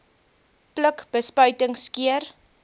pluk bespuiting skeer